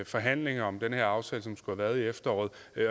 forhandlingen om den her aftale som skulle have været i efteråret